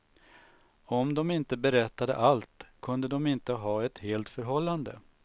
Om de inte berättade allt, kunde de inte ha ett helt förhållande.